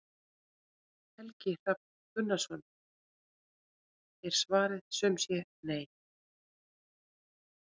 Helgi Hrafn Gunnarsson: Er svarið sum sé nei?